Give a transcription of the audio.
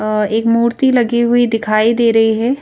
अ एक मूर्ति लगी हुई दिखाई दे रही है।